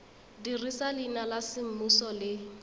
dirisa leina la semmuso le